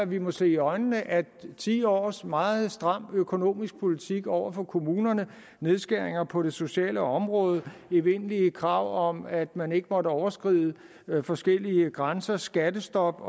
vi må se i øjnene at ti års meget stram økonomisk politik over for kommunerne nedskæringer på det sociale område evindelige krav om at man ikke måtte overskride forskellige grænser skattestop